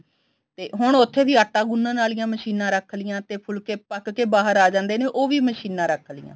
ਤੇ ਹੁਣ ਉੱਥੇ ਵੀ ਆਟਾ ਗੁੰਨਨ ਆਲੀਆ ਮਸ਼ੀਨਾ ਰੱਖ ਲਿਆ ਤੇ ਫੁਲਕੇ ਪੱਕ ਕੇ ਬਾਹਰ ਆ ਜਾਂਦੇ ਨੇ ਉਹ ਵੀ ਮਸ਼ੀਨਾ ਰੱਖ ਲੀਆ